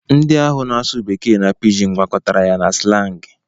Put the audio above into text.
Ndị ahụ na-asụ bekee na pijin gwakọtara ya na silang.